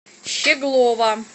щеглова